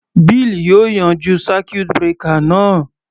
Bill yóò yanjú circuit breaker náà.